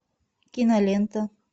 кинолента